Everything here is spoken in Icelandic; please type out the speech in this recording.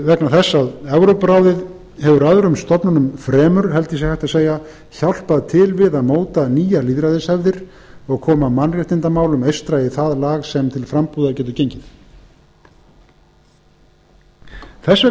vegna þess að evrópuráðið hefur öðrum stofnunum fremur held ég sé hægt að segja hjálpað til við að móta nýjar lýðræðishefðir og koma mannréttindamálum eystra í það lag sem til frambúðar getur gengið þess